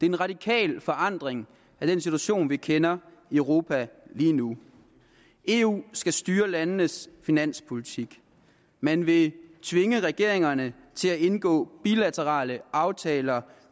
en radikal forandring af den situation vi kender i europa lige nu eu skal styre landenes finanspolitik man vil tvinge regeringerne til at indgå bilaterale aftaler